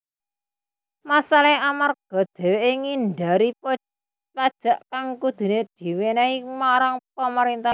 Masalahé amarga dheweké ngindari pajak kang kuduné diwenehaké marang pamarintah